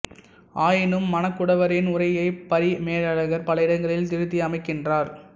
ஆயினும் மணக்குடவரின் உரையைப் பரிமேலழகர் பல இடங்களில் திருத்தி அமைக்கின்றார்